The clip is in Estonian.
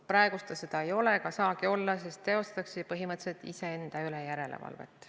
Praegu ta seda ei ole ega saagi olla, sest teostatakse ju põhimõtteliselt iseenda üle järelevalvet.